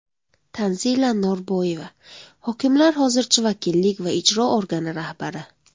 Tanzila Norboyeva: Hokimlar hozircha vakillik va ijro organi rahbari.